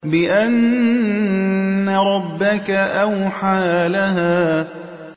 بِأَنَّ رَبَّكَ أَوْحَىٰ لَهَا